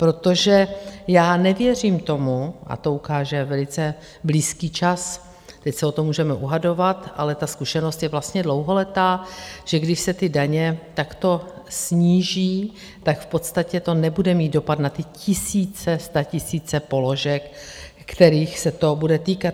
Protože já nevěřím tomu, a to ukáže velice blízký čas, teď se o to můžeme dohadovat, ale ta zkušenost je vlastně dlouholetá, že když se ty daně takto sníží, tak v podstatě to nebude mít dopad na ty tisíce, statisíce položek, kterých se to bude týkat.